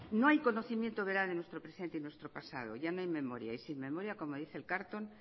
no hay conocimiento veraz de nuestro presente y nuestro pasado ya no hay memoria y sin memoria como dice el carlton